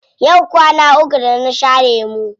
Yau kwana uku da na sha lemu.